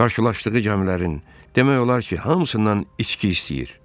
Qarşılaşdığı gəmilərin demək olar ki, hamısından içki istəyir.